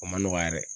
O ma nɔgɔ yɛrɛ